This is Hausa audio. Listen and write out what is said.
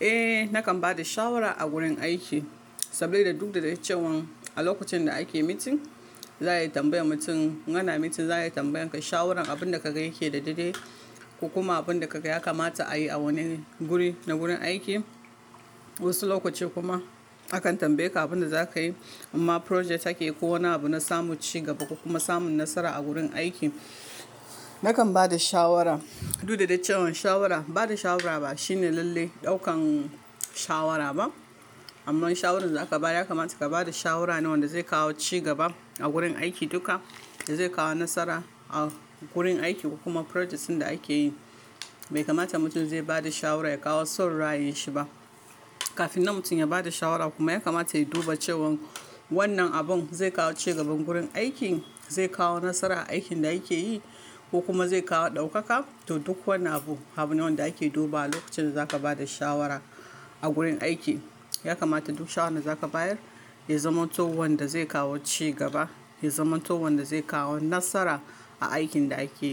Eh, nakan ba da shawara a gurin aiki saboda duk da dai cewan a lokacin da ake meeting, za a yi tambayar mutum, in ana meeting za a yi tambayar kai shawaran abin da ka ga yake daidai ko kuma abin da ka ga ya kamata a yi a wannan guri na gurin aiki. Wasu lokaci kuma akan tambaye ka abin da za ka yi, amma project ake ko wani abu na samun cigaba ko kuma samun nasara a gurin aiki. Nakan ba da shawara. Duk da dai cewan shawara, ba da shawara ba shine lalle ɗaukan shawara ba, amma shawarar da za ka ba ya kamata ka ba da shawara ne wanda zai kawo cigaba a gurin aiki duka, da zai kawo nasara a gurin aiki ko kuma projects ɗin da ake yi. Bai kamata mutum zai ba da shawara ya kawo son raayinshi ba. Kafin nan mutum ya ba da shawara kuma ya kamata ya duba cewan wannan abun zai kawo cigaban gurin aikin, zai kawo nasara a aikin da yake yi ko kuma zai kawo ɗaukaka ta duk wani abu. Abu ne wanda ake dubawa lokacin da za ka ba da shawara a gurin aiki. Ya kamata duk shawaran da za ka bayar ya zama to wanda zai kawo cigaba, ya zama to wanda zai kawo nasara a aikin da ake